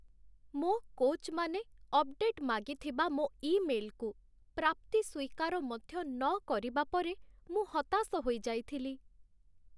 ମୋ କୋଚ୍‌ମାନେ ଅପଡେଟ୍ ମାଗିଥିବା ମୋ ଇମେଲ୍‌କୁ ପ୍ରାପ୍ତି ସ୍ୱୀକାର ମଧ୍ୟ ନକରିବା ପରେ ମୁଁ ହତାଶ ହୋଇଯାଇଥିଲି।